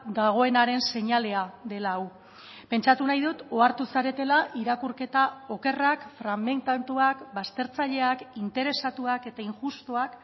dagoenaren seinalea dela hau pentsatu nahi dut ohartu zaretela irakurketa okerrak fragmentatuak baztertzaileak interesatuak eta injustuak